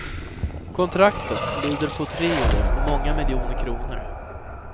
Kontraktet lyder på tre år och många miljoner kronor.